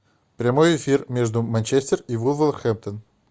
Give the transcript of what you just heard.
прямой эфир между манчестер и вулверхэмптон